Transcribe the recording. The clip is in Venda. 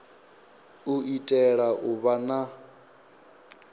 u itela u vha na